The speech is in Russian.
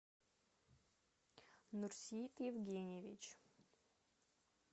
нурсит евгеньевич